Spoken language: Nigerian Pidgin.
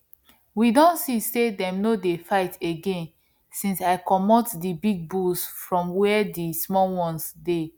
we don see say them no dey fight again since i comot the big bulls from where the small ones dey